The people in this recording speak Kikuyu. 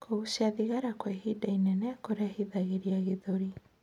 Kugucia thigara kwa ihinda inene nokurehithirie gĩthũri